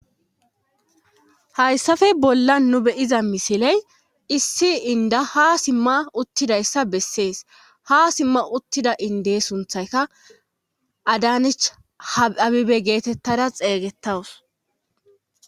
Hayssafe bolla nu beyiza misiley issi inda ha simma uttidayssa bessees ha simma uttida inde sunthayka adanich habibe geetettada xeeygettawus